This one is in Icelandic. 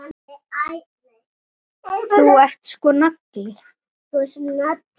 Þú ert sko nagli.